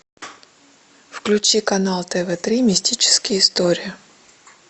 включи канал тв три мистические истории